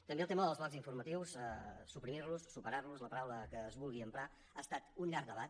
també el tema dels blocs informatius suprimir los superar los la paraula que es vulgui emprar ha estat un llarg debat